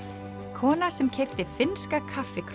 kona sem keypti finnska